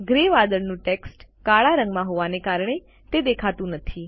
grey વાદળોનું text કાળા રંગમાં હોવાને કારણે તે દેખાતું નથી